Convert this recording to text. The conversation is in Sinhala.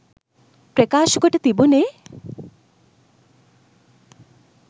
ප්‍රකාශකොට තිබුනේ